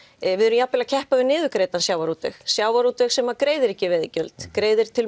við erum jafnvel að keppa við niðurgreiddan sjávarútveg sjávarútveg sem greiðir ekki veiðigjöld greiðir til